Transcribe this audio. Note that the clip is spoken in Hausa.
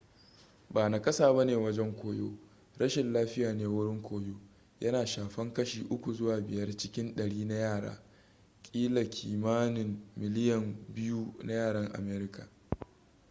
ba nakasa bane wajen koyo rashin lafiya ne wurin koyo yana shafan kashi 3 zuwa 5 cikin dari na yara kila kimanin miliyan 2 na yaran america